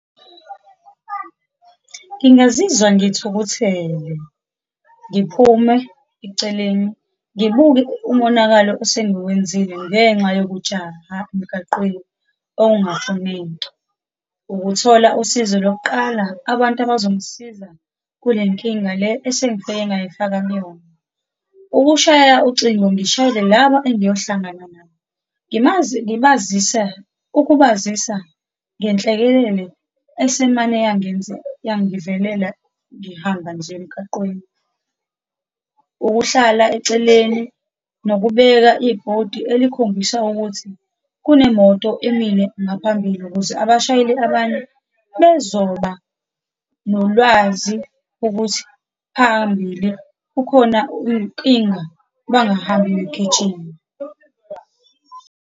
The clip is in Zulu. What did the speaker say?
Ngingazizwa ngithukuthele, ngiphume eceleni, ngibuke umonakalo osengiwenzile ngenxa yokujaha emgaqweni okungafuneki. Ukuthola usizo lokuqala, abantu abazongisiza kule nkinga le esengifike ngayifaka kuyona. Ukushaya ucingo, ngishayele laba engiyohlangana nabo, ngibazise, ukubazisa ngenhlekelele esimane yangivelela ngihamba nje emgaqweni. Ukuhlala eceleni, nokubeka ibhodi elikhombisa ukuthi kunemoto emile ngaphambili, ukuze abashayeli abanye bezoba nolwazi ukuthi phambili kukhona inkinga, bangahambi begijima.